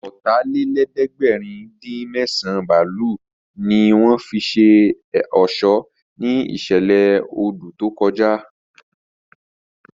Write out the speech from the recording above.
Ọ̀tàlélẹ̀ẹ́dẹ́gbẹ̀rin-dín-mẹ́sàn bálùnì ní wọ́n fi ṣe ọ̀ṣọ́ ní ìṣẹ̀lẹ̀ odù tó kọjá